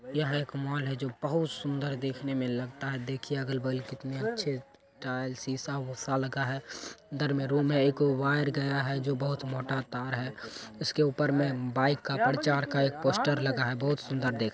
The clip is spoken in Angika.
यहाँ एक मॉल हैं जो बोहोत सुन्दर देखने मैं लगता है। देखिये अगल बगल कितने अच्छे टाइल्स शीशा विशा लगा हैं। घर मैं में रूम है एगो। एक वायर गया है जो बहुत मोटा तार है उसके ऊपर में बाइक का प्रचार का एक पोस्टर लगा है बोहोत सुन्दर देख--